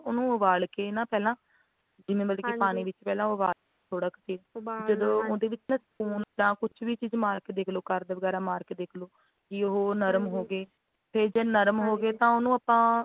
ਉਹਨੂੰ ਉਬਾਲ ਕੇ ਨਾ ਪਹਿਲਾਂ ਵੀ ਮਤਲੱਬ ਕਿ ਪਾਣੀ ਵਿਚ ਉਬਾਲ ਕੇ ਨਾ ਥੋੜਾ ਕੌ ਫਿਰ ਓਬਾਲਣਾ ਜਦੋਂ ਉਹਦੇ ਵਿੱਚ spoon ਜਾਂ ਕੁੱਝ ਵੀ ਚੀਜ਼ ਮਾਰ ਕੇ ਦੇਖਲੋ ਕਰਦ ਵਗੈਰਾ ਮਾਰਕੇ ਵੀ ਉਹ ਨਰਮ ਹੋਗੇ ਤੇ ਜੇ ਨਰਮ ਹੋਗੇ ਤਾਂ ਉਹਨੂੰ ਆਪਾ